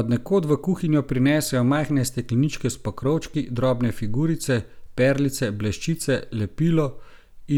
Od nekod v kuhinjo prinesejo majhne stekleničke s pokrovčki, drobne figurice, perlice, bleščice, lepilo